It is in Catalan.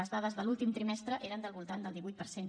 les dades de l’últim trimestre eren del voltant del divuit per cent